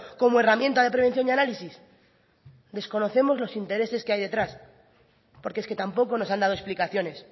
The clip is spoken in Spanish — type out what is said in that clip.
como herramienta de prevención y análisis desconocemos los intereses que hay detrás porque es que tampoco nos han dado explicaciones